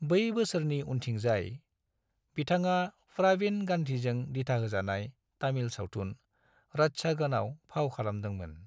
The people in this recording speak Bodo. बै बोसोरनि उनथिंजाय, बिथाङा प्रवीण गांधीजों दिथाहोजानाय तामिल सावथुन रत्चागनआव फाव खालामदोंमोन।